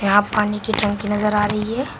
यहां पानी की टंकी नजर आ रही है।